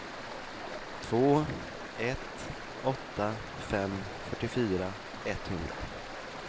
två ett åtta fem fyrtiofyra etthundra